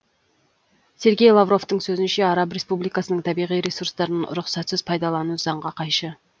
сергей лавровтың сөзінше араб республикасының табиғи ресурстарын рұқсатсыз пайдалану заңға қайшы